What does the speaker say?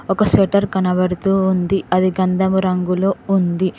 ఒక స్వెటర్ కనబడుతూ ఉంది అది గంధము రంగులో ఉంది.